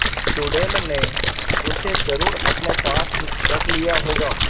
चुड़ैल ने उसे जरुर अपने पास रख लिया होगा